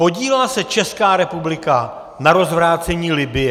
Podílela se Česká republika na rozvrácení Libye?